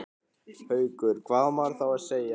Haukur: Hvað á maður þá að segja?